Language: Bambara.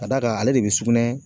Ka da kan, ale de bi sugunɛ